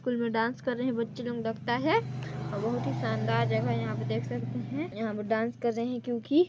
school में dance कर रहे है बच्चे लोग लगता है और बहुत ही शानदार जगह यहाँ पे देख सकते है यहाँ पर डांस कर रहे है क्योंकि--